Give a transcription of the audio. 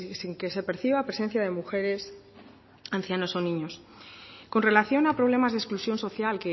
sin que se perciba presencia de mujeres ancianos o niños con relación a problemas de exclusión social